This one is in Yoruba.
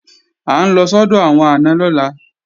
À ń lọ sọ́dọ̀ àwọn àna lọ́la